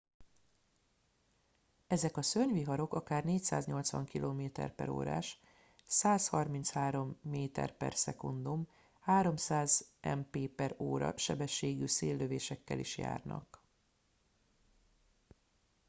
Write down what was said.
ezek a szörnyviharok akár 480 km/órás 133 m/s 300 mp/h sebességű széllökésekkel is járnak